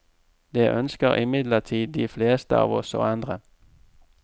Det ønsker imidlertid de fleste av oss å endre.